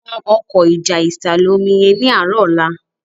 tán Ọkọ́ ìjà ìsàlẹ̀-omi yén ní arọ ọlá